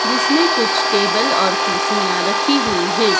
जिसमें कुछ टेबल और कुर्सियां रखी हुई हैं।